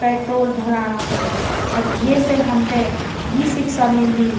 पेट्रोल भराणा खुण और ये से हमथे यी शिक्षा मिलदी --